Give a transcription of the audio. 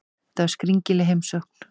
Þetta var skringileg heimsókn.